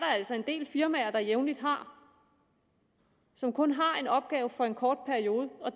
altså en del firmaer der jævnligt har som kun har en opgave for en kort periode og